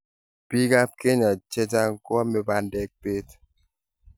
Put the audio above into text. biikab Kenya che chang' ko ame bandek beet